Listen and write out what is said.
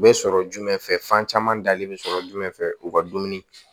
U bɛ sɔrɔ jumɛn fɛ fan caman dalen bɛ sɔrɔ jumɛn fɛ u ka dumuni